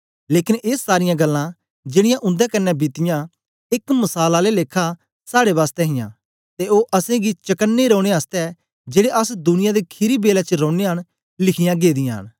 लेकन ए सारीयां गल्लां जेड़ीयां उन्दे कन्ने बीतीयां एक मसाल आले लेखा साड़े बासतै हियां ते ओ असेंगी चकने रौने आसतै जेड़े अस दुनिया दे खीरी बेलै च रौनयां न लिखीयां गेदियां न